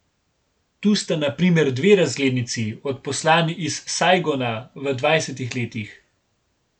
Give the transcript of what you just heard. Tu sta na primer dve razglednici, odposlani iz Sajgona v dvajsetih letih.